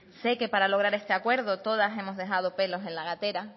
sé que para que llegar a este acuerdo todas hemos dejado pelos en la gatera